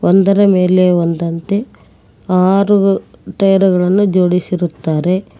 ಒಂದರ ಮೇಲೆ ಒಂದಂತೆ ಆರು ಟಯರ್ ಗಳನ್ನು ಜೋಡಿಸಿರುತ್ತಾರೆ.